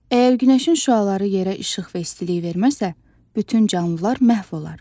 Əgər günəşin şüaları yerə işıq və istilik verməsə, bütün canlılar məhv olar.